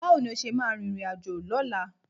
Báwo ni o ṣe máa rìnrìnàjò lọ́la?